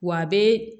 Wa a bɛ